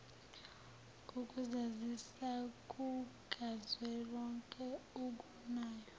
ukuzazisa kukazwelonke okunayo